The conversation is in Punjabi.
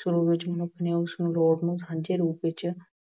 ਸ਼ੁਰੂ ਵਿੱਚ ਮਨੁੱਖ ਨੇ ਉਸ ਲੋੜ ਨੂੰ ਸਾਂਝੇ ਰੂਪ ਵਿੱਚ